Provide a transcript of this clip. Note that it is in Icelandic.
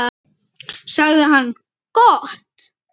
sagði hann: Gott.